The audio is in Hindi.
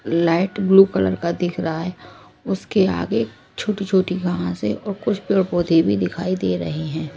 लाइट ब्लू कलर का दिख रहा है उसके आगे छोटी छोटी घास है और कुछ पेड़ पौधे भी दिखाई दे रहे हैं।